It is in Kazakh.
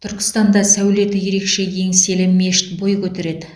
түркістанда сәулеті ерекше еңселі мешіт бой көтереді